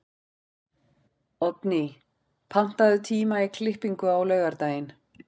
Oddný, pantaðu tíma í klippingu á laugardaginn.